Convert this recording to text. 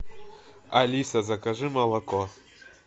алиса закажи молоко